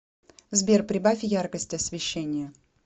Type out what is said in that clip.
сбер прибавь яркость освещения